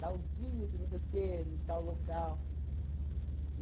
Tal dia, que não sei o quê, no tal local.